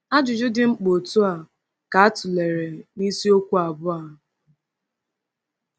Ajụjụ dị mkpa otú a ka a tụlere n’isiokwu abụọ a.